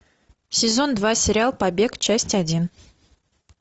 сезон два сериал побег часть один